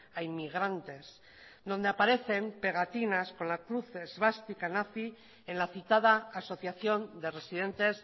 a inmigrantes donde aparecen pegatinas con las cruz esvástica nazi en la citada asociación de residentes